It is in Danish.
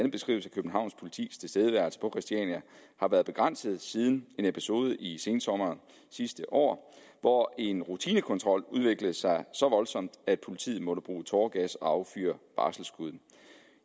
københavns politis tilstedeværelse på christiania har været begrænset siden en episode i sensommeren sidste år hvor en rutinekontrol udviklede sig så voldsomt at politiet måtte bruge tåregas og affyre varselsskud